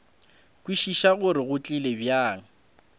kwešiša gore go tlile bjang